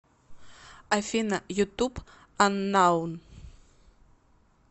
афина ютуб аннаун